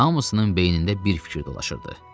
Hamısının beynində bir fikir dolaşırdı.